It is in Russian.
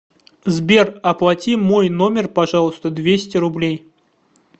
сбер оплати мой номер пожалуйста двести рублей